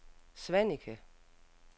Svaneke